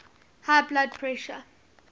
high blood pressure